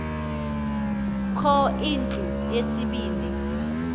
kho indlu yesibini